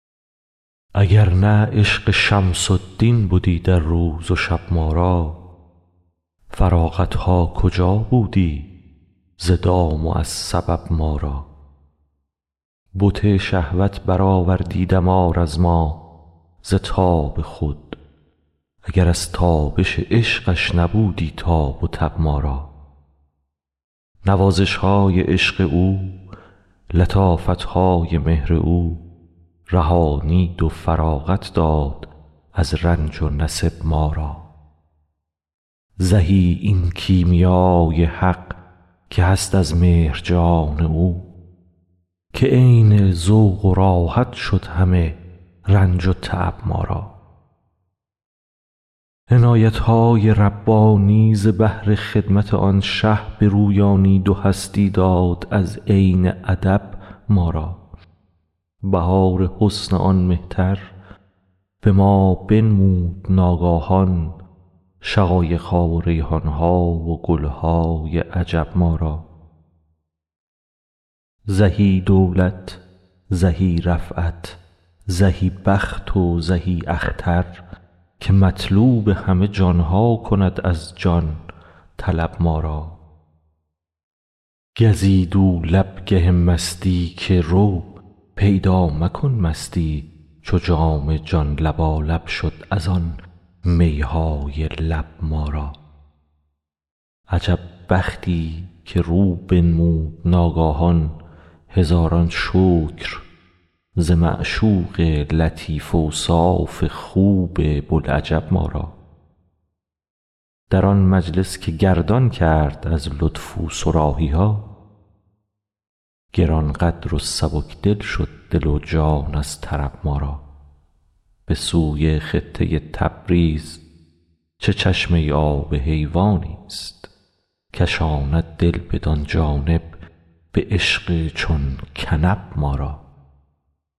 اگر نه عشق شمس الدین بدی در روز و شب ما را فراغت ها کجا بودی ز دام و از سبب ما را بت شهوت برآوردی دمار از ما ز تاب خود اگر از تابش عشقش نبودی تاب و تب ما را نوازش های عشق او لطافت های مهر او رهانید و فراغت داد از رنج و نصب ما را زهی این کیمیا ی حق که هست از مهر جان او که عین ذوق و راحت شد همه رنج و تعب ما را عنایت های ربانی ز بهر خدمت آن شه برویانید و هستی داد از عین ادب ما را بهار حسن آن مهتر به ما بنمود ناگاهان شقایق ها و ریحان ها و گل های عجب ما را زهی دولت زهی رفعت زهی بخت و زهی اختر که مطلوب همه جان ها کند از جان طلب ما را گزید او لب گه مستی که رو پیدا مکن مستی چو جام جان لبالب شد از آن می های لب ما را عجب بختی که رو بنمود ناگاهان هزاران شکر ز معشوق لطیف اوصاف خوب بوالعجب ما را در آن مجلس که گردان کرد از لطف او صراحی ها گران قدر و سبک دل شد دل و جان از طرب ما را به سوی خطه تبریز چه چشمه آب حیوان است کشاند دل بدان جانب به عشق چون کنب ما را